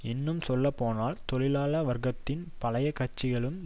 இன்னும் சொல்லப்போனால் தொழிலாள வர்க்கத்தின் பழைய கட்சிகளின்